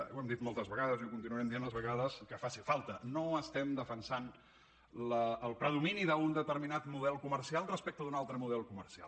ho hem dit moltes vegades i ho continuarem dient les vegades que faci falta no estem defensant el predomini d’un determinat model comercial respecte d’un altre model comercial